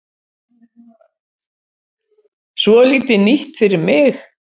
Svolítið nýtt fyrir mig.